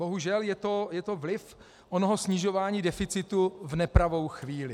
Bohužel je to vliv onoho snižování deficitu v nepravou chvíli.